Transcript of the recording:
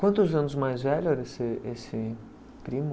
Quantos anos mais velho era esse esse primo?